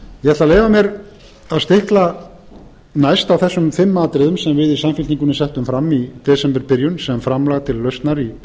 að leyfa mér næst að stikla á þessum fimm atriðum sem við í samfylkingunni settum fram í desemberbyrjun sem framlag til lausnar í deilunni